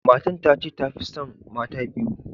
Matan ta ce ta Fi tson mata biyu.